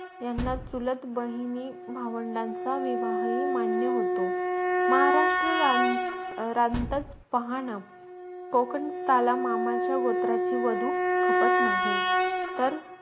यांना चुलत बहिणी भावंडांचा विवाही मान्य होतो महाराष्ट्र रान रांतच पाहणं कोकणस्थळा मामाचा गोत्राची वाधू खपत नाही तर